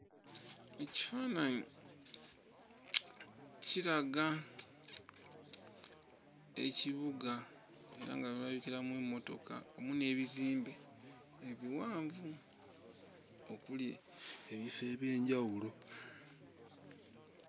Ekifaananyi kiraga ekibuga era nga mulabikiramu emmotoka wamu n'ebizimbe ebiwanvu okuli ebifo eby'enjawulo.